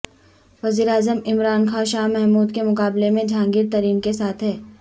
وزیر اعظم عمران خان شاہ محمود کے مقابلے میں جہانگیر ترین کے ساتھ ہیں